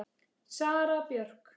Sara Björk.